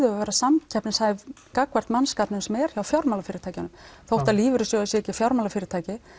við að vera samkeppnishæf gagnvart mannskapnum sem er hjá fjármálafyrirtækjunum þó lífeyrissjóðir séu ekki fjármálafyrirtæki